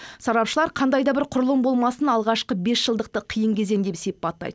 сарапшылар қандай да бір құрылым болмасын алғашқы бесжылдықты қиын кезең деп сипаттайды